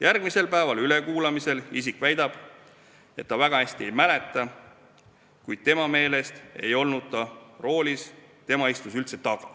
Järgmisel päeval ülekuulamisel isik väidab, et ta väga hästi ei mäleta, kuid tema meelest ei olnud ta roolis, tema istus üldse taga.